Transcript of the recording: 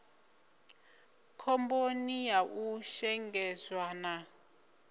khomboni ya u shengedzwa na